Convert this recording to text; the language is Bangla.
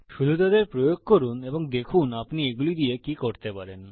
শুধু তাদের প্রয়োগ করুন এবং দেখুন আপনি এগুলি দিয়ে কি করতে পারেন